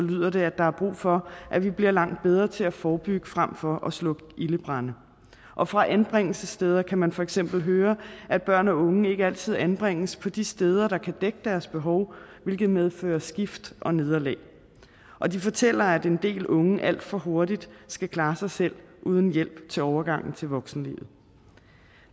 lyder det at der er brug for at vi bliver langt bedre til at forebygge frem for at slukke ildebrande og fra anbringelsessteder kan man for eksempel høre at børn og unge ikke altid anbringes på de steder der kan dække deres behov hvilket medfører skift og nederlag og de fortæller at en del unge alt for hurtigt skal klare sig selv uden hjælp til overgangen til voksenlivet